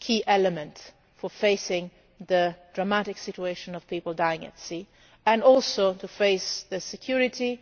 key element for facing the dramatic situation of people dying at sea and also to face the